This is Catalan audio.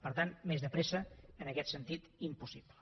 per tant més de pressa en aquest sentit impossible